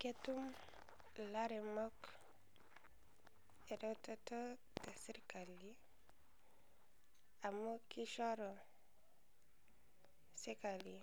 Ketua laremok eretoto te sirkali amu kiishoroo sirkali